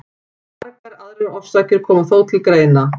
Margar aðrar orsakir koma þó til greina.